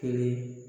Kelen